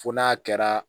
Fo n'a kɛra